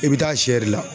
I bɛ taa sɛ de la